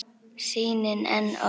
Sýnin enn og aftur.